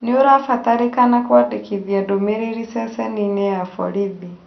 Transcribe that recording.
Nĩũrabatarĩkana kwadĩkithia ndũmĩrĩri ceceni-inī ya borithi